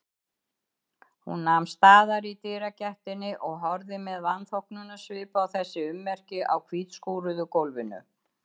Hún nam staðar í dyragættinni og horfði með vanþóknunarsvip á þessi ummerki á hvítskúruðu gólfinu.